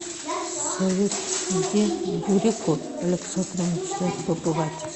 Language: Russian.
салют где бурико александра мечтает побывать